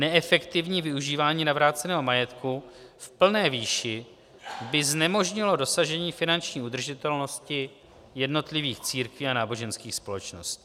Neefektivní využívání navráceného majetku v plné výši by znemožnilo dosažení finanční udržitelnosti jednotlivých církví a náboženských společností.